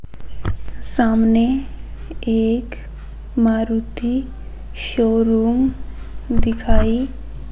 सामने एक मारुति शोरूम दिखाई--